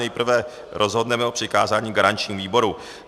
Nejprve rozhodneme o přikázání garančnímu výboru.